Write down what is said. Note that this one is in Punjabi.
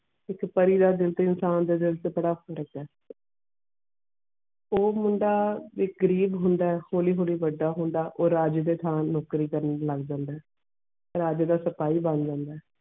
ਇਕ ਪਾਰਿ ਦੇ ਦਿਲ ਤੇ ਇਨਸਾਨ ਦੇ ਦਿਲ ਛ ਇਹ ਉਹ ਮੁੰਡਾ ਵੀ ਗਰੀਬ ਹੋਂਦ ਹੋਲੀ ਹੋਲੀ ਵੱਡਾ ਹੋਂਦ ਔਰ ਰਾਜ ਦੇ ਥਾਂ ਨੌਕਰੀ ਕਾਰਨ ਲੱਗ ਪੈਂਦਾ ਰਾਜ ਦਾ ਸਪਾਹੀ ਬਣ ਜਾਂਦਾ.